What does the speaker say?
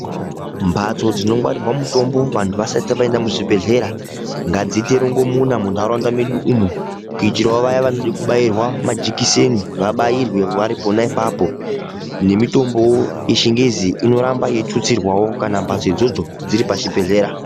Mbatso dzinongwarirwa mutombo vantu vasati vaenda muzvibhedhlera, ngadziite rongomuna muntaraunda medu umo kuitirawo vaya vanode kubairwa majikiseni vabairwe vari pona ipapo. Nemitombowo yechingezi inoramba yeitutsirwawo kana mbatso idzodzo dziri pachibhedhlera.